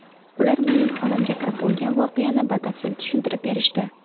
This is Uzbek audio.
Ular mening xonamga kirib bo‘lgan voqeani batafsil tushuntirib berishdi.